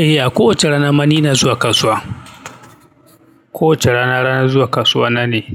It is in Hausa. Eh, a kowace rana mani ina zuwa kasuwa. Kowace rana, ranan zuwa kasuwa na ne.